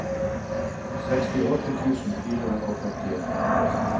sekstiåtte tusen fire hundre og førtien